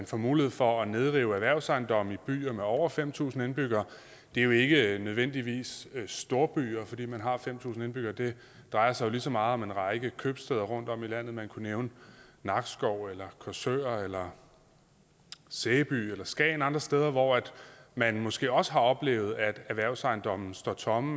får mulighed for at nedrive erhvervsejendomme i byer med over fem tusind indbyggere det er jo ikke nødvendigvis storbyer fordi man har fem tusind indbyggere det drejer sig lige så meget om en række købstæder rundtomkring i landet man kunne nævne nakskov eller korsør eller sæby eller skagen eller andre steder hvor man måske også har oplevet at erhvervsejendomme står tomme